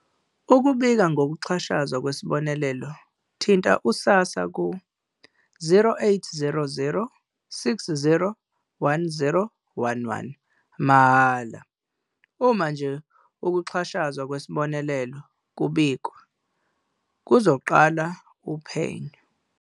Ukubika ngokuxhashazwa kwesibonelelo, thinta u-SASSA ku-0800 60 10 11, mahhala. "Uma nje ukuxhashazwa kwesibonelelo kubikwa, kuzoqala uphenyo."